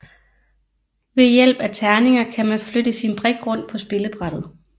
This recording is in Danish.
Ved hjælp af terninger kan man flytte sin brik rundt på spillebrættet